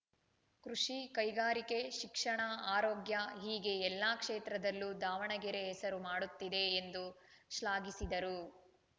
ಕೃಷಿ ಕೈಗಾರಿಕೆ ಶಿಕ್ಷಣ ಆರೋಗ್ಯ ಹೀಗೆ ಎಲ್ಲಾ ಕ್ಷೇತ್ರದಲ್ಲೂ ದಾವಣಗೆರೆ ಹೆಸರು ಮಾಡುತ್ತಿದೆ ಎಂದು ಶ್ಲಾಘಿಸಿದರು